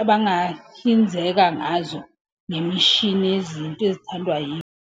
abangahlinzeka ngazo ngemishini yezinto ezithandwa .